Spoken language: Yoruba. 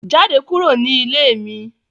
Jade kuro ni ile mi